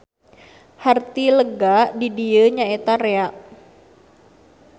Harti lega di dieu nyaeta rea.